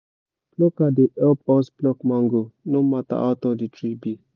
plucker dey help us pluck mango no matter how tall the tree be